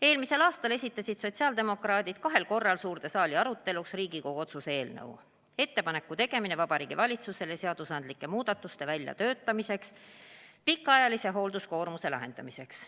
Eelmisel aastal esitasid sotsiaaldemokraadid kahel korral suurde saali aruteluks Riigikogu otsuse eelnõu "Ettepaneku tegemine Vabariigi Valitsusele seadusandlike muudatuste väljatöötamiseks pikaajalise hoolduskoormuse probleemi lahendamiseks".